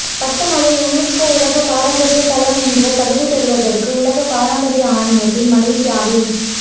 Batumalai UNESCO உலகப் பாரம்பரிய தளம் என்ற தகுதி பெறுவதற்கு உலக பாரம்பரிய ஆணையத்தில் மலேசியாவின்